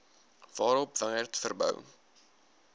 waarop wingerd verbou